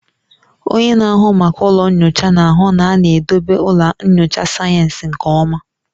Onye na-ahụ maka ụlọ nyocha na-ahụ na a na-edobe ụlọ nyocha sayensị nke ọma